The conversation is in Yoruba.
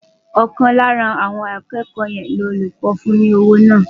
Ọ̀kan lára àwọn akẹ́kọ̀ọ́ ni olùkọ́ fún ní owó náà.